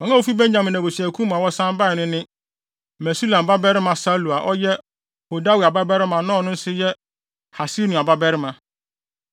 Wɔn a wofi Benyamin abusuakuw mu a wɔsan bae no ne: Mesulam babarima Salu, a ɔyɛ Hodawia babarima na ɔno nso yɛ Hasenua babarima;